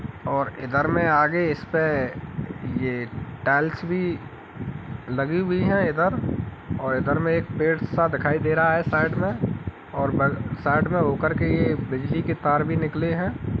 और इधर में आगे इसपे ये टाइल्स भी लगी हुई है इधर और इधर में एक पेड़ सा दिखाई दे रहा है साइड में और साइड में होकर ये बिजली की तार भी निकले हैं।